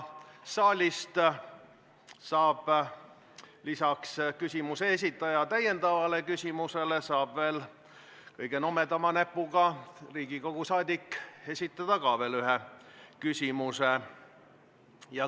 Saalist saab lisaks põhiküsimuse esitaja täiendavale küsimusele ka kõige nobedama näpuga Riigikogu liige esitada veel ühe küsimuse.